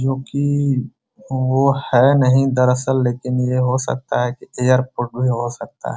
जो की वो है नहीं दरअसल लेकिन ये हो सकता है की एयरपोर्ट भी हो सकता है।